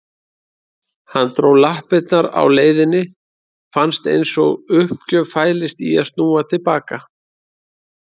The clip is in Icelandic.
Hann dró lappirnar á leiðinni, fannst einsog uppgjöf fælist í að snúa til baka.